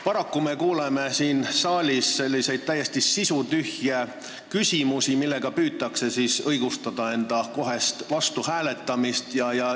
Paraku me kuuleme siin saalis täiesti sisutühje küsimusi, millega püütakse õigustada enda vastuhääletamist.